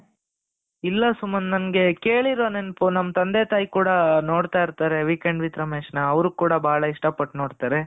ಇಲ್ಲ ಸುಮಂತ್ ನನಗೆ ಕೇಳಿರುವ ನೆನಪು ನಮ್ಮ ತಂದೆ ತಾಯಿ ಕೂಡ ನೋಡ್ತಾ ಇರ್ತಾರೆ weekend with ರಮೇಶ್ ನ ಅವರು ಕೂಡ ಬಹಳ ಇಷ್ಟಪಟ್ಟು ನೋಡ್ತಾರೆ,